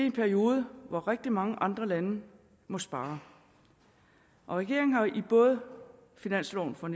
en periode hvor rigtig mange andre lande må spare regeringen har både i finansloven for